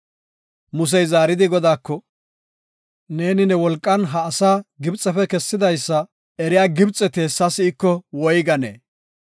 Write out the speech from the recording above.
Musey zaaridi Godaako, “Neeni ne wolqan ha asaa Gibxefe kessidaysa eriya Gibxeti hessa si7iko woyganee?